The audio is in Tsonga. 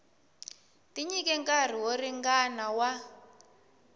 tinyike nkarhi wo ringana wa